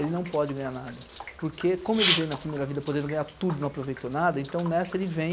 Ele não pode ganhar nada, porque como ele veio na primeira vida podendo ganhar tudo, não aproveitou nada, então nessa ele vem